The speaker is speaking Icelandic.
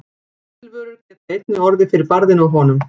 Textílvörur geta einnig orðið fyrir barðinu á honum.